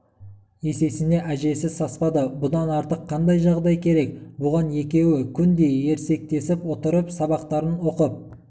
есесіне әжесі саспады бұдан артық қандай жағдай керек бұған екеуі күн де ерсектесіп отырып сабақтарын оқып